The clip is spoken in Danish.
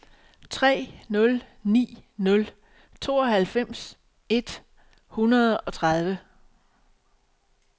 tre nul ni nul tooghalvfems et hundrede og tredive